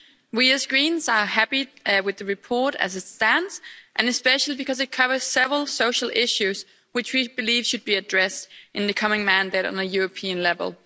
We, as Greens, are happy with the report as it stands, especially because it covers several social issues which we believe should be addressed in the coming mandate at a European level.